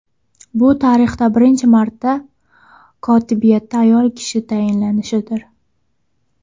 Bu tarixda birinchi marta kotibiyatda ayol kishi tayinlanishidir.